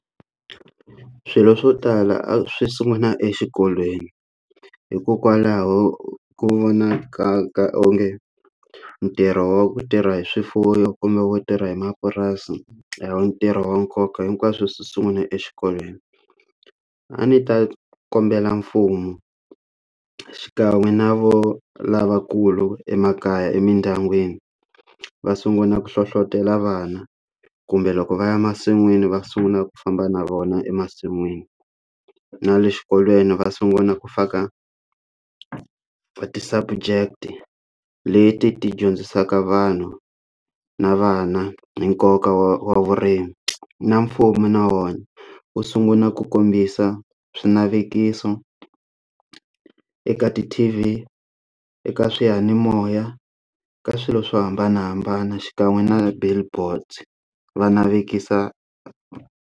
Swilo swo tala a swi sungula exikolweni hikokwalaho ku vonaka ka onge ntirho wa ku tirha hi swifuwo kumbe wo tirha hi mapurasi yo ntirho wa nkoka hinkwaswo sungula exikolweni a ni ta kombela mfumo xikan'we na vo lavakulu emakaya emindyangwini va sungula ku hlohlotelo vana kumbe loko va ya masin'wini va sungula ku famba na vona emasin'wini na le xikolweni va sungula ku fa ka ti subject leti ti dyondzisaka vanhu na vana hi nkoka wa vurimi na mfumo na wona wu sungula ku kombisa swinavetiso eka ti T_V eka swiyanimoya ka swilo swo hambanahambana xikan'we na billboard va navetisa.